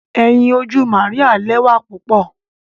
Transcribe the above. Ẹyin oju Maria lẹwa pupọ.